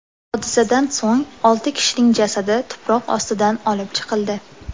Hodisadan so‘ng olti kishining jasadi tuproq ostidan olib chiqildi.